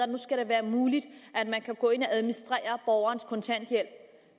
nu skal være muligt at man kan gå ind og administrere borgernes kontanthjælp